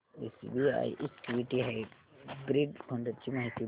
SBI equity hybrid fund ची माहिती दे